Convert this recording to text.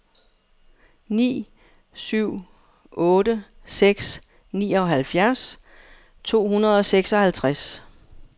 ni syv otte seks nioghalvfjerds to hundrede og seksoghalvtreds